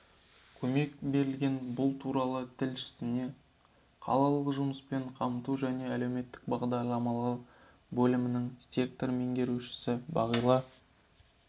көмек берілген бұл туралы тілшісіне қалалық жұмыспен қамту және әлеуметтік бағдарламалар бөлімінің сектор меңгерушісі бағила